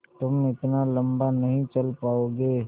तुम इतना लम्बा नहीं चल पाओगे